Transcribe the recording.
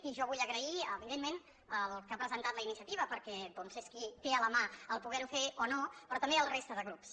i jo ho vull agrair evidentment al que ha presentat la iniciativa perquè doncs és qui té a la mà poder ho fer o no però també a la resta de grups